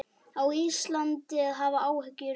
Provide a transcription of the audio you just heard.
Á Ísland að hafa áhyggjur núna?